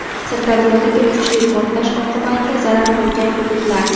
Sirdaryodagi kuchli portlash oqibatida zarar ko‘rgan hududlar.